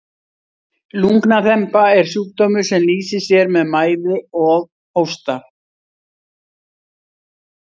lungnaþemba er sjúkdómur sem lýsir sér með mæði og hósta